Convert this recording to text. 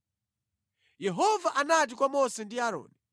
Yehova anati kwa Mose ndi Aaroni,